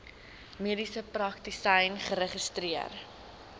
mediese praktisyn geregistreer